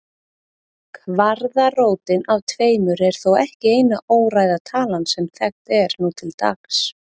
Kvaðratrótin af tveimur er þó ekki eina óræða talan sem þekkt er nú til dags.